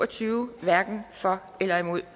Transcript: tyve hverken for eller imod